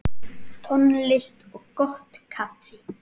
Tónlist og gott kaffi.